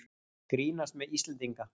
Grínast með Íslendinga